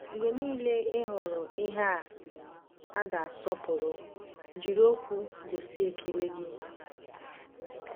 Mgbe niile ị hụrụ ihe a ga-asọpụrụ, jiri okwu gosi ekele gị.